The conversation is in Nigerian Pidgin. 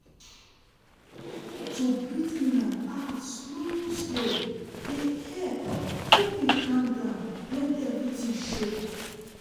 to breathe in and out slow-slow dey help help me calm down when everything choke.